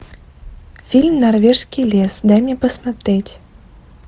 фильм норвежский лес дай мне посмотреть